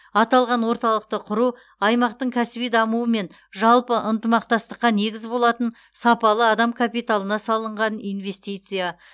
аталған орталықты құру аймақтың кәсіби дамуы мен жалпы ынтымақтастыққа негіз болатын сапалы адам капиталына салынған инвестиция